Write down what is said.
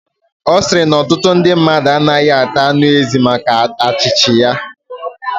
Osiri na otutu ndu mmadu anagahi ata anu ezi maka achichi ya